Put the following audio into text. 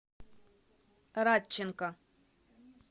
радченко